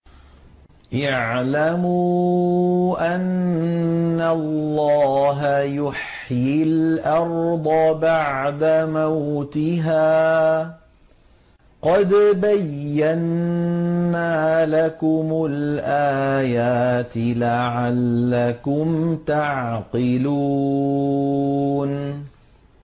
اعْلَمُوا أَنَّ اللَّهَ يُحْيِي الْأَرْضَ بَعْدَ مَوْتِهَا ۚ قَدْ بَيَّنَّا لَكُمُ الْآيَاتِ لَعَلَّكُمْ تَعْقِلُونَ